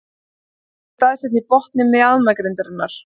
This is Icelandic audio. Þvagrásin er staðsett á botni mjaðmagrindarinnar.